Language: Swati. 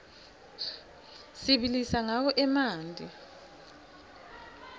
sibilisa rqawo emanti